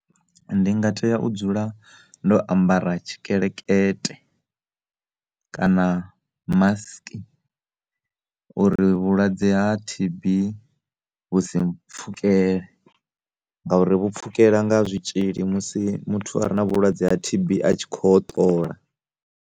Ndi nga tea u dzula ndo ambara tshikelekete kana masiki uri vhulwadze ha T_B vhu si mpfhukele ngauri vhu pfhukela nga zwitzhili musi muthu a re na vhulwadze ha T_B a tshi kho hoṱola.